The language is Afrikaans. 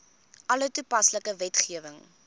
alle toepaslike wetgewing